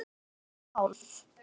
Tvær og hálf.